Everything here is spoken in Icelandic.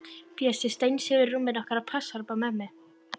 Bjössi steinsefur í rúminu okkar og passar upp á mömmu.